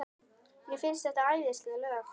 Mér finnst þetta æðisleg lög.